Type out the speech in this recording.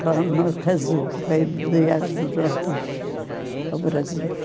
Não, no Brasil. Brasil.